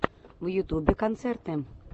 в ютубе концерты